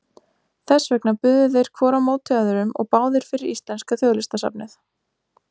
Þess vegna buðu þeir hvor á móti öðrum og báðir fyrir íslenska þjóðlistasafnið!